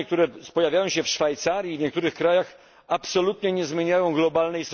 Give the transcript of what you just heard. Zmiany, które pojawiają się w Szwajcarii i w niektórych krajach, absolutnie nie zmieniają sytuacji globalnej.